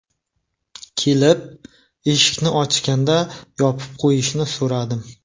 Kelib, eshikni ochganda yopib qo‘yishini so‘radim.